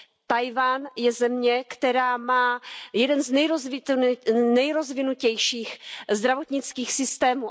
Tchaj wan je země, která má jeden z nejrozvinutějších zdravotnických systémů.